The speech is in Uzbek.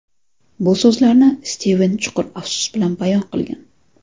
Bu so‘zlarni Stiven chuqur afsus bilan bayon qilgan.